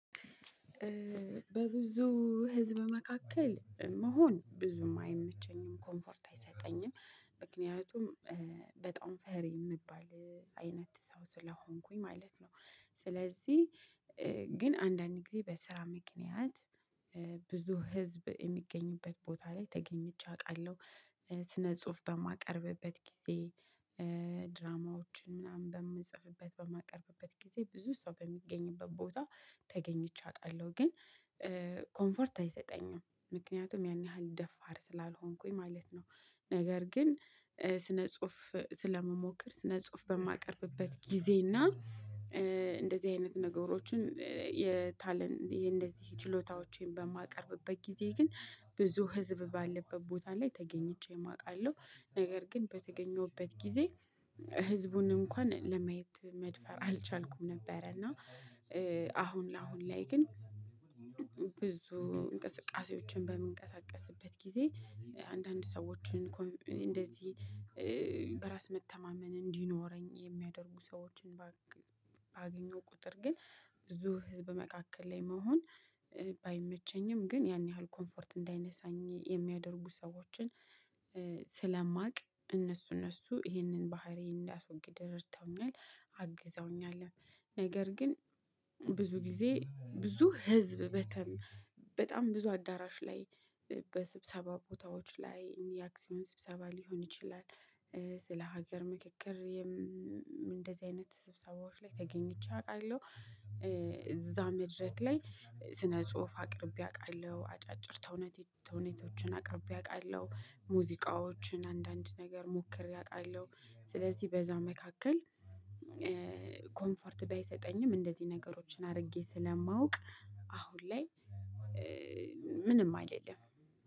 በብዙ ህዝብ መካከል መሆን ብዙም አይመቸኝም ኮምፎርት አይሰጠኝም። ምክንያቱም በጣም ፈሪ የምንባል አይነት ሰው ስለሆንኩኝ ማለት ነው። ስለዚህ ግን አንዳንድ ጊዜ በስራ ምክንያት ብዙ ህዝብ የሚገኝበት ቦታ ላይ ተገኝቼ አውቃለሁ። ስነ ጽሁፍ በማቀርብበት ጊዜ ድራማዎችን ምናምን በምንጽፍበት በማቀርብበት ጊዜ ብዙ ሰው በሚገኝበት ቦታ ተገኝቼ አውቃለሁ። ግን ኮምፈርት አይሰጠኝም ምክንያቱም ያን ያህል ደፋር ስላልሆንኩኝ ማለት ነው። ነገር ግን ስነ ጽሁፍ ስለምሞክር ስነ ጽሁፍ በማቀርብበት ጊዜና እንደዚህ አይነት ነገሮችን የታለን የእንደዚህ ችሎታዎችን በማቀርብበት ጊዜ ግን ብዙ ህዝብ ባለበት ቦታ ላይ ተገኝቼም አውቃለሁ። ነገር ግን በተገኘሁበት ጊዜ ህዝቡን እንኳን ለማየት መድፈር አልቻልኩም ነበረ። እና አሁን ለአሁን ላይ ግን። ብዙ እንቅስቃሴዎችን በምንቀሳቀስበት ጊዜ አንዳንድ ሰዎችን ኮን እንደዚህ በራስ መተማመን እንዲኖረኝ የሚያደርጉ ሰዎችን ባግ ባገኘው ቁጥር ግን ብዙ ህዝብ መካከል ላይ መሆን ባይመቸኝም ግን ያን ያህል ኮምፎርት እንዳይነሳኝ የሚያደርጉ ሰዎችን ስለማውቅ እነሱ እነሱ ይህንን ባህሪ እንዳስወግድ ረድተውኛል። አግዘውኛል። ነገር ግን ብዙ ጊዜ ብዙ ህዝብ በተም በጣም ብዙ አዳራሽ ላይ በስብሰባ ቦታዎች ላይ የአክሲዮን ስብሰባ ሊሆን ይችላል። ስለ ሀገር ምክክር እንደዚህ አይነት ስብሰባዎች ላይ ተገኝቼ አውቃለሁ። እዛ መድረክ ላይ ስነ ጽሁፍ አቅርቤ አውቃለሁ አጫጭር ተውነቴ ተውኔቶችን አቅርቤ አውቃለሁ ሙዚቃዎችን አንዳንድ ነገር ሞክሬ አውቃለሁ። ስለዚህ በዛ መካከል ኮምፈርት ባይሰጠኝም እንደዚህ ነገሮችን አድርጌ ስለማውቅ አሁን ላይ ምንም አይደለም